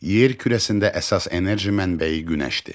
Yer kürəsində əsas enerji mənbəyi Günəşdir.